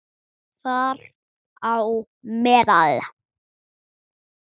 Þar á meðal